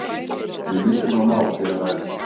Um mikilvæg mál sé að ræða